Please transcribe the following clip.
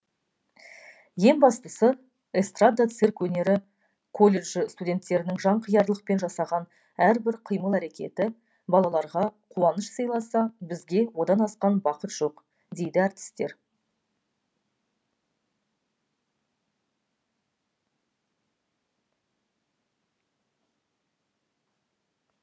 ең бастысы эстрада цирк өнері колледжі студентерінің жанқиярлықпен жасаған әрбір қимыл әрекеті балаларға қуаныш сыйласа бізге одан асқан бақыт жоқ дейді әртістер